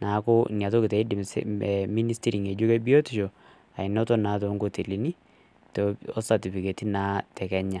neeku intiim anoto naa toonkotelini osatofiketi naa te kenya.